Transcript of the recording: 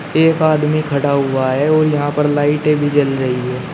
एक आदमी खड़ा हुआ है और यहां पर लाइटें भी जल रही है।